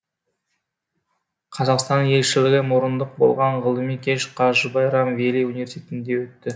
қазақстан елшілігі мұрындық болған ғылыми кеш қажы байрам вели университетінде өтті